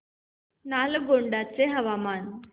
नालगोंडा चे हवामान